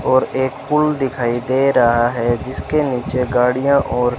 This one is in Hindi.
और एक पूल दिखाई दे रहा है जिसके नीचे गाड़ियां और--